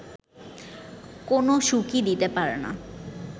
কোনও সুখই দিতে পারে না